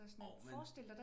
Jo men